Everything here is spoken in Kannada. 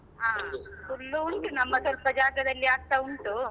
ಹ ಹುಲ್ಲು ಉಂಟು ನಮ್ಮ ಸ್ವಲ್ಪ ಜಾಗದಲ್ಲಿ ಆಗ್ತಾ ಉಂಟು.